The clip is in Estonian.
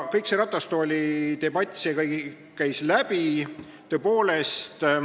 Kõik see ratastoolidebatt, see käis ka läbi.